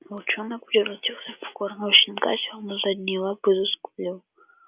волчонок превратился в покорного щенка сел на задние лапы и заскулил